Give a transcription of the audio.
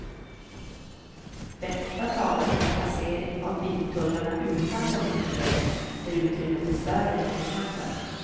Detta talar för en placering av biltullarna utanför ringleden där utrymmet är större än innanför.